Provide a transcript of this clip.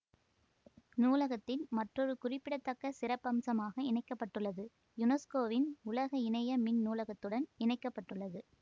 நூலகத்தின் மற்றொரு குறிப்பிடத்தக்க சிறப்பம்சமாக இணைக்க பட்டுள்ளது யுனெஸ்கோவின் உலக இணைய மின் நூலகத்துடன் இணைக்க பட்டுள்ளது